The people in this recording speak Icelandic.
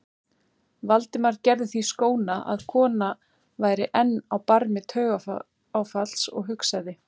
Valdimar gerði því skóna að konan væri enn á barmi taugaáfalls og hugsaði